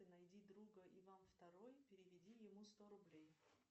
найди друга иван второй переведи ему сто рублей